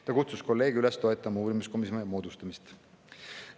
Ta kutsus kolleege üles toetama uurimiskomisjoni moodustamist.